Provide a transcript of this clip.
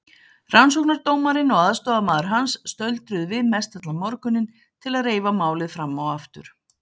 Rannsóknardómarinn og aðstoðarmaður hans stöldruðu við mestallan morguninn til að reifa málið fram og aftur.